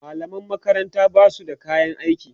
mallaman makaranta Basu da kayan aiki